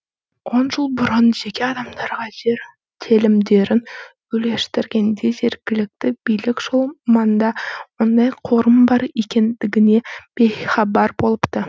он жыл бұрын жеке адамдарға жер телімдерін үлестіргенде жергілікті билік сол маңда ондай қорым бар екендігінен бейхабар болыпты